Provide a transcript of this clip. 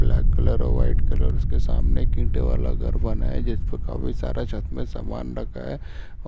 black colour है white colour उसके सामने ईंटे वाला घर बना है जिसमे काफी सारा छत्त में समान रखा है